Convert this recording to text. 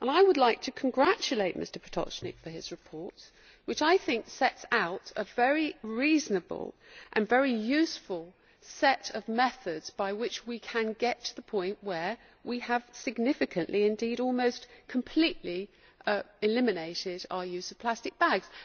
I would like to congratulate Mr Potočnik on his proposal, which I think sets out a very reasonable and very useful set of methods by which we can get to the point where we have significantly, indeed almost completely, eliminated our use of plastic bags.